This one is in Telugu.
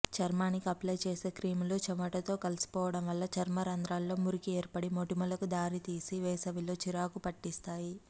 చర్మానికి అప్లై చేసే క్రీములు చెమటతో కలిసిపోవడం వల్ల చర్మరంధ్రాల్లో మురికి ఏర్పడి మొటిమలకు దారితీసి వేసవిలో చిరాకు పెట్టేస్తాయి